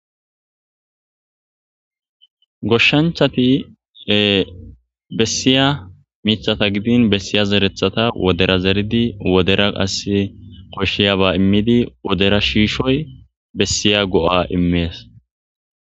Goshshanchati bessiya miththata gidin bessiya zerethata wodera zeridi wodera qasse koshiyaba immidi wodera shiishoy koshiya go'a immees.